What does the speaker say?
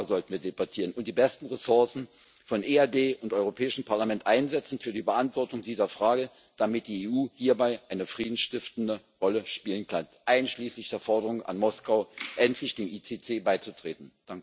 Darüber sollten wir debattieren, und die besten Ressourcen von EAD und Europäischem Parlament einsetzen für die Beantwortung dieser Frage, damit die EU hierbei eine friedensstiftende Rolle spielen kann, einschließlich der Forderung an Moskau, endlich dem ICC beizutreten.